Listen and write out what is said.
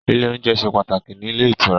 Ile oúnjẹ ṣe pàtàkì ní ilé ìtura